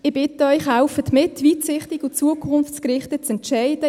Ich bitte Sie deshalb, mitzuhelfen, weitsichtig und zukunftsgerichtet zu entscheiden.